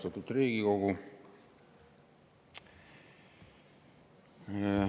Austatud Riigikogu!